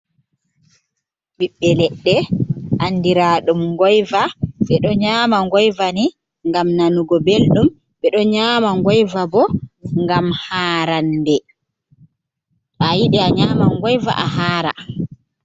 Bibbe ledde andiradum ngoyva, be do nyama ngoyvani gam nanugo beldum be do nyama ngoyva bo ngam harande ayidi a nyama ngoyva a hara.